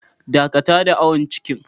Dakata da awon cikin.